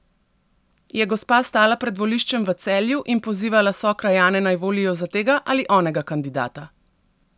Je gospa stala pred voliščem v Celju in pozivala sokrajane, naj volijo za tega ali onega kandidata?